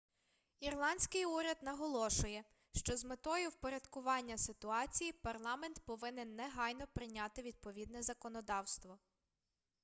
ірландський уряд наголошує що з метою впорядкування ситуації парламент повинен негайно прийняти відповідне законодавство